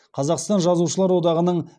қазақстан жазушылар одағының